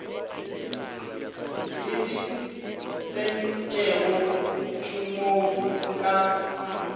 e di tsentšego tšhomong ka